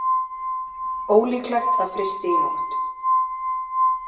Ólíklegt að frysti í nótt